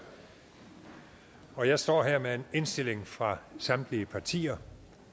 og jeg står her med en indstilling fra samtlige partier